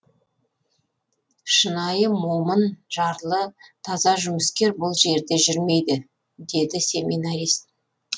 шынайы момын жарлы таза жұмыскер бұл жерде жүрмейді деді семинарист